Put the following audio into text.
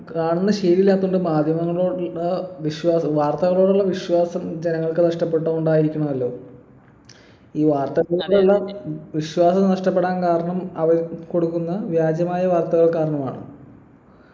കാണുന്ന ശീലം ഇല്ലാത്തോണ്ട് മാധ്യമങ്ങളോടുള്ള വിശ്വാ വാർത്തകളോടുള്ള വിശ്വാസം ജനങ്ങൾക്ക് നഷ്ടപ്പട്ടത് കൊണ്ടായിരിക്കണമല്ലോ ഈ വാർത്താ എല്ലാം വിശ്വാസം നഷ്ടപ്പെടാൻ കാരണം അവർ കൊടുക്കുന്ന വ്യാജമായ വാർത്തകൾ കാരണമാണ്